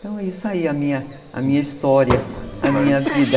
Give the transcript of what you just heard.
Então é isso aí, a minha a minha história, a minha vida.